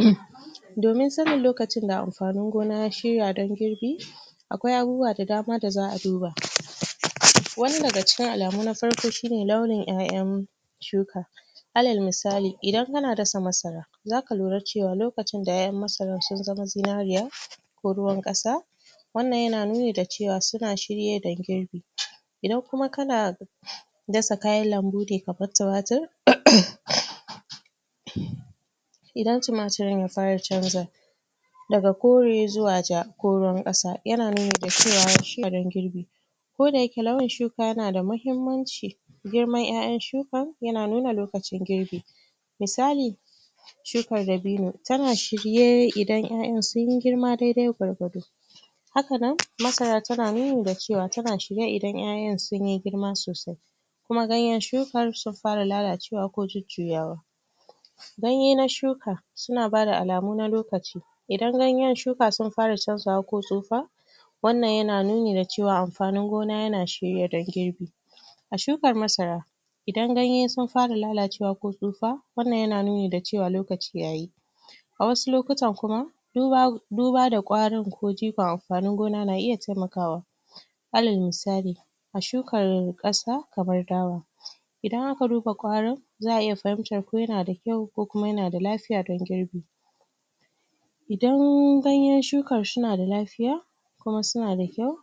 um Domin sannin lokacin da amfani gona ya shirya don girbi akwai abubuwa da dama da za'a duba wani daga cikin alamu na sarkoki shine launin ƴaƴan shuka alal misali idan ana dasa masara za ka lura cewa lokacin da ƴaƴan masarar su zama zinariya ko ruwan kasa wannan yana nuni da cewa sun shirye don girbi idan kuma kana dasa kayan lambu ne kamar tumatir idan tumatirin ya fara canza daga kore zuwa ja ko ruwan ƙasa yana nuni da cewa ya shirya don girbi ko da yake launin shuka yana da muhimmanci girman ƴaƴan shukan yana nuna lokacin girbi misali shukar dabino tana shirye idan ƴaƴan sun girma dede gwargwado haka nan masara tana nuni da cewa tana shirye idan ƴaƴan sun girma sosai kuma ganyan shukar sunfara jujuyawa ko kuma lalacewa ganye na shuka suna bada alamu na lokaci idan ganyen shuka sun fara canzawa ko tsufa wannan na nuni da cewa amfanin gona yana shirye dan girbi a shukar masara idan ganye sun fara lalacewa ko tsutsa wannan yana nuni da cewa lokaci yayi a wasu lokutan kuma duba da kwarin ko jifan amfanin gona na iya taimakawa alal misali a shukar ƙasa kamar dawa idan aka duba kwarin za iya fahimtar ko yanada kyau ko kuma yanada lafiya don girbi idan ganyen shukar suna da lafiya kuma suna da kyau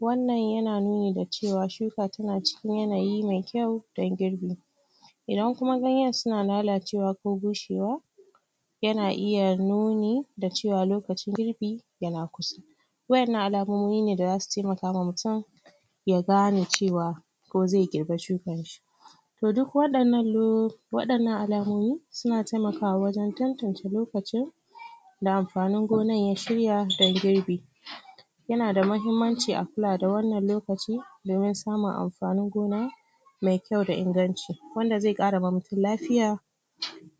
wannan yana nuni da cewa shuka tana cikin yanayi me kyau don girbi idan kuma ganyen suna lalacewa ko bushewa yana iya nuni da cewa lokacin girbi yana kusa wayannan alamomi ne da zasu taimaka wa mutum ya gane cewa ko ze girba shukan shi toh duk wadannan, wadannan alamomi suna taimakawa wajan tantance lokaci da amfanin gona ya shirya don girbi yana da muhimmanci a kula da wannan lokaci domin samun amfanin gona me kyau da inganci wanda ze ƙara ma mutum lafiya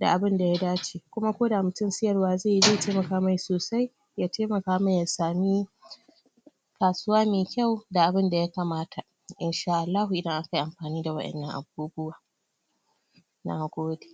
da abun daya dace ko kuma koda mutum siyarwa ze yi ze taimaka mai sosai, ya taimaka mai ya sami kasuwa me kau da abun da yakamata insha Allahu idan akayi amfani da wadannan abubuwa na gode.